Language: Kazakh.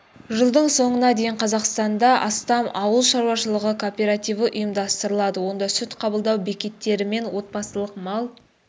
жылдың соңына дейін қазақстанда астам ауыл шаруашылығы кооперативі ұйымдастырылады онда сүт қабылдау бекеттері мен отбасылық мал